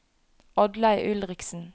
Oddlaug Ulriksen